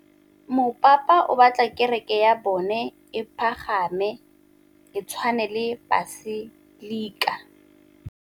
Mopapa o batla kereke ya bone e pagame, e tshwane le paselika.